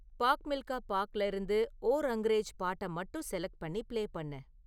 பாக் மில்கா பாக்ல இருந்து ஓ ரங்ரேஜ் பாட்டை மட்டும் செலக்ட் பண்ணி பிளே பண்ணு